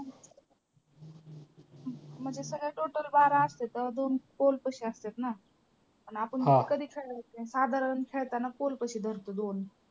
म्हणजे सगळे total बारा असत्यात. दोन poll पाशी असत्यात ना आणि आपण म्हणतो कधी खेळायचं आहे, साधारण खेळताना poll पाशी धरतो दोन.